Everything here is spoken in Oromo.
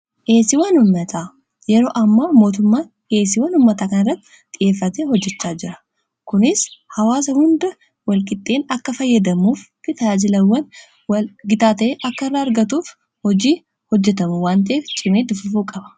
heesii wan ummataa yeroo amma mootummaan deesii wanummataa kan irratti xiyeeffate hojjechaa jira kunis hawaasa hunda walqixxeen akka fayyadamuuf bitaajilawwan gitaa ta'e akka irraa argatuuf hojii hojjetamu waanxeef cimee duffuu qaba